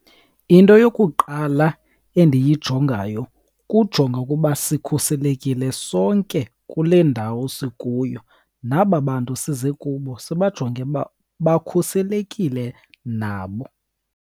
Into yokuqala endiyijongayo kujonga ukuba sikhuselekile sonke kule ndawo sikuyo, naba bantu size kubo sibajonge uba bakhuselekile nabo.